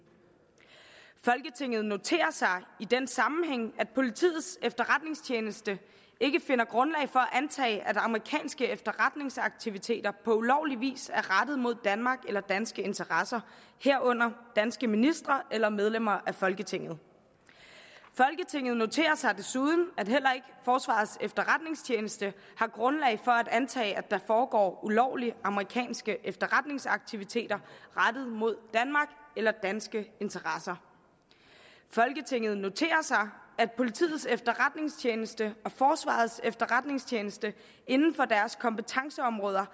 folketinget noterer sig i den sammenhæng at politiets efterretningstjeneste ikke finder grundlag for antage at amerikanske efterretningsaktiviteter på ulovlig vis er rettet mod danmark eller danske interesser herunder danske ministre eller medlemmer af folketinget folketinget noterer sig desuden at heller ikke forsvarets efterretningstjeneste har grundlag for at antage at der foregår ulovlige amerikanske efterretningsaktiviteter rettet mod danmark eller danske interesser folketinget noterer sig at politiets efterretningstjeneste og forsvarets efterretningstjeneste inden for deres kompetenceområder